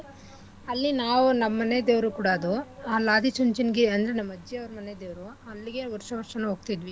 ಅಲ್ಲಿ ನಾವ್ ನಮ್ಮ ಮನೆ ದೇವ್ರು ಕೂಡ ಅದು ಅಲ್ ಆದಿಚುಂಚನಗಿರಿ ಅಂದ್ರೆ ನಮ್ ಅಜ್ಜಿ ಅವ್ರ್ ಮನೆದೇವ್ರು ಅಲ್ಲಿಗೆ ವರ್ಷ ವರ್ಷನೂ ಹೋಗ್ತಿದ್ವಿ.